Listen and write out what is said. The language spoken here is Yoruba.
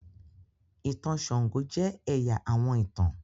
ìtàn sango jẹ ẹya àwọn ìtàn.